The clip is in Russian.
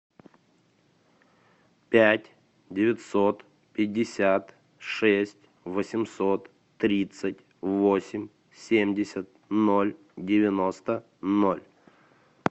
пять девятьсот пятьдесят шесть восемьсот тридцать восемь семьдесят ноль девяносто ноль